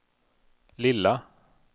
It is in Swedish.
lilla